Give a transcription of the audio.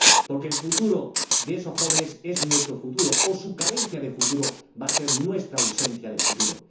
Porque el futuro de esos jóvenes es nuestro futuro, o su carencia de futuro va a ser nuestra ausencia de futuro.